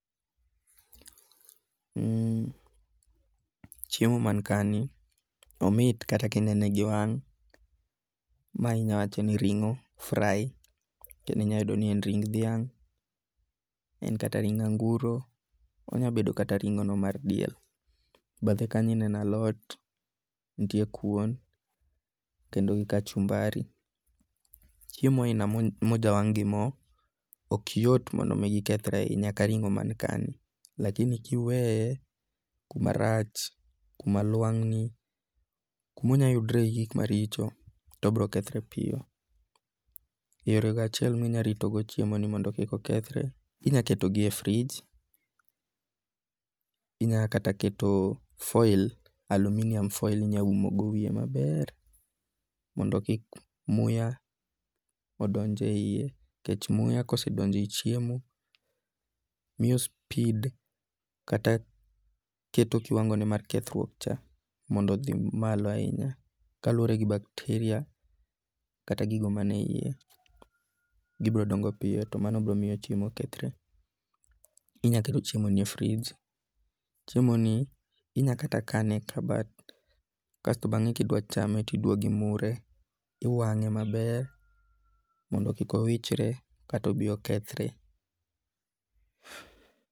Mhm, chiemo man ka ni, omit kata kinene gi wang'. Ma inyawacho ni ring'o fry, kendinyayuodo ni en ring dhiang', en kata ring anguro, onya bedo kata ring'o no mar diel. Bathe kanyo ineno alot, nitie kuon kendo gi kachumbari. Chiembo aina mo mojawang' gi mo, ok yot mondo mi gikethre ahinya ka ring'o ma ka ni. Lakini kiweye kuma rach, kuma lwang'ni, kumonyayudre gi gik maricho to bro kethre piyo. E yore go achiel minya ritogo chiemo ni mondo kik okthre, inyaketogi e frij, inya kata keto foil, aluminium folil inya umogo wiye maber mondo kik muya odonj e iye. Nikech muya kosedonjo ei chiemo, miyo speed kata keto kiwango ne mar kethruok cha mondo odhi malo ahinya. Kaluwore gi bacteria kata gigo mane iye, gibro dongo piyo to mano bro miyo chiemo kethre. Inyaketo chiemo ni e frij, chiemo ni inya kata kane e kabat. Kasto bang'e kidwa chame tidwogimure, iwang'e maber mondo kik owichre kata obi okethre.